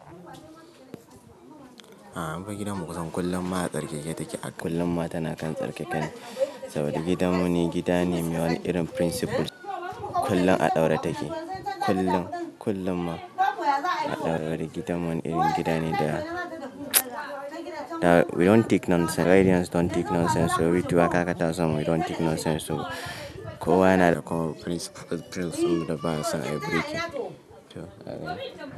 A'a amma fa gidanmu kusan kullum ma a tsarkake take. Kullum ma tana kan tsarkake ne. Saboda gidanmu ni gida ne mai wani irin principles. Kullum a ɗaurata take. Kullum, kullum ma a ɗaure. Saboda gidanmu wani irin gida ne da we don't take nonsense. Raidians don't take nonsense. So we too hata akata son we don't take nonsense so kowa yana da principles da baya son ayi breaking.